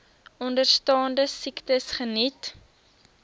onderstaande siektes geniet